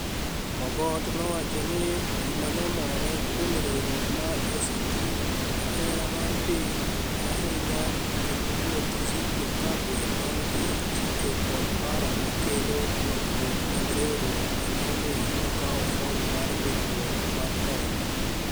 Mogoti nowacho nii gimanomore kuom riwruok mar ACT jahera mar piniy ahiniya eni ruoth zitto kabwe maniigi chike kod paro mar kelo lokruok mag riwruok emaomiyo nokawo fom mar nidikruok martelo